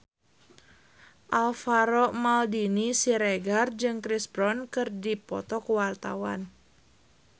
Alvaro Maldini Siregar jeung Chris Brown keur dipoto ku wartawan